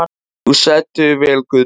Þú stendur þig vel, Guðný!